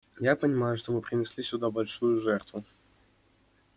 я понимаю что вы принесли сюда большую жертву